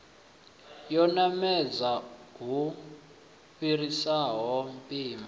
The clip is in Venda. yo namedza lu fhiraho mpimo